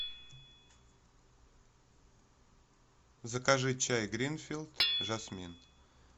закажи чай гринфилд жасмин